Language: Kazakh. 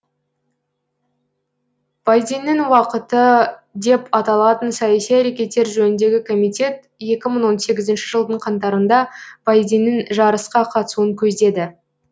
байденнің уақыты деп аталатын саяси әрекеттер жөніндегі комитет екі мың он сегізінші жылдың қаңтарында байденнің жарысқа қатысуын көздеді